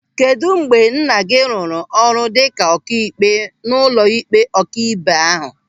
Kedụ mgbe nna gị rụrụ ọrụ dịka ọkaikpe n'ụlọịkpe ọkaibe ahu?